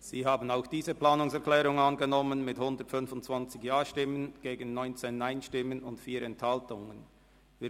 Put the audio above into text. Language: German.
Sie haben auch diese Planungserklärung mit 125 Ja- gegen 19 Nein-Stimmen und 4 Enthaltungen angenommen.